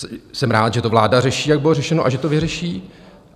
Jsem rád, že to vláda řeší, jak bylo řečeno, a že to vyřeší.